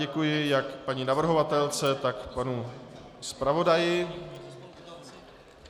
Děkuji jak paní navrhovatelce, tak panu zpravodaji.